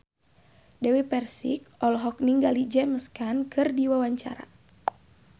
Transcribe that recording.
Dewi Persik olohok ningali James Caan keur diwawancara